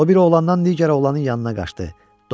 O bir oğlandan digər oğlanın yanına qaçdı.